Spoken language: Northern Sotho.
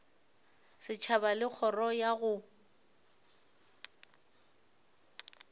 setšhaba le kgoro ya go